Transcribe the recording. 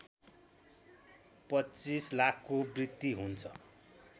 २५ लाखको वृद्धि हुन्छ